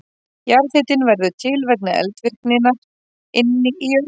Jarðhitinn verður til vegna eldvirkninnar inni í jörðinni.